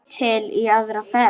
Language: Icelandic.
Til í aðra ferð.